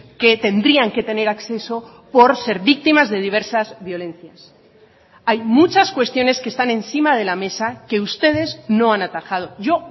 que tendrían que tener acceso por ser víctimas de diversas violencias hay muchas cuestiones que están encima de la mesa que ustedes no han atajado yo